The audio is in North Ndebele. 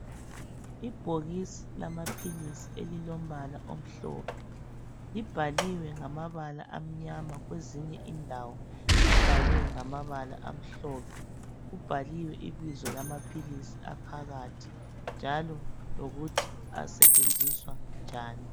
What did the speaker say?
Ibhokisi lamaphilisi elilombala omhlophe libhaliwe ngamabala amnyama kwezinye indawo libhalwe ngamabala amhlophe. Kubhaliwe ibizo lamaphilisi aphakathi njalo lokuthi asetshenziswa njani.